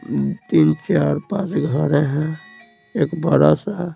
तीन चार पांच घर हैं एक बड़ा सा है।